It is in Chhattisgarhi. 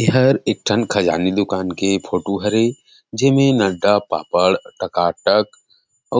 इहर एक ठन खजानी दुकान के फोटो हरे जेमे नड़ड़ा पापड़ टकाटक